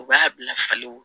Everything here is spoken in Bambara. U b'a bila falen wo